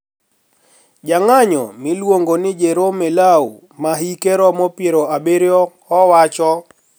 Jang`anyo miluongo ni Jerome Lau ma hike romo pier abiriyo owacho: